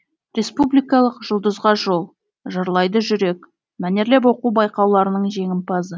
республикалық жұлдызға жол жырлайды жүрек мәнерлеп оқу байқауларының жеңімпазы